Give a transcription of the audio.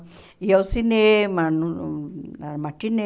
Ia ao cinema, no na matinê.